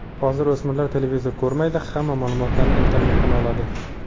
Hozir o‘smirlar televizor ko‘rmaydi, hamma ma’lumotlarni internetdan oladi.